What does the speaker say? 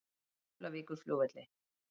Keflavíkurflugvelli